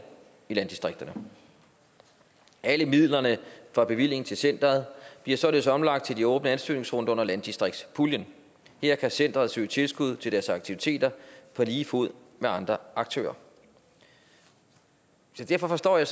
i landdistrikterne alle midlerne fra bevillingen til centeret bliver således omlagt til de åbne ansøgningsrunder under landdistriktspuljen her kan centeret søge tilskud til deres aktiviteter på lige fod med andre aktører så derfor forstår jeg